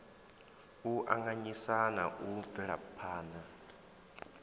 u anganyisa na u bvelaphana